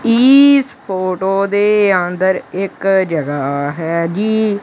ਇਸ ਫੋਟੋ ਦੇ ਅੰਦਰ ਇੱਕ ਜਗਹਾ ਹੈਗੀ।